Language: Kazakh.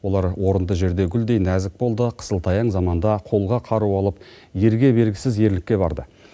олар орынды жерде гүлдей нәзік болды қысылтаяң заманда қолға қару алып ерге бергісіз ерлікке барды